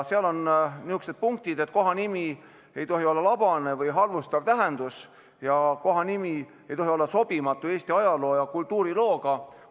Seal on kirjas sellised punktid, et kohanimi ei tohi olla labase ega halvustava tähendusega ning et kohanimi ei tohi olla sobimatu Eesti aja- ja kultuuriloo suhtes.